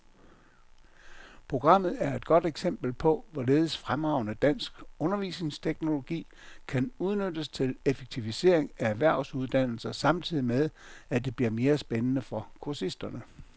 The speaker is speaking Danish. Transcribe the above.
Programmet er et godt eksempel på, hvorledes fremragende dansk undervisningsteknologi kan udnyttes til effektivisering af erhvervsuddannelser samtidig med, at det bliver mere spændende for kursisterne.